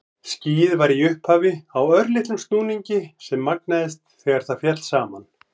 Skýið var í upphafi á örlitlum snúningi sem magnaðist þegar það féll saman.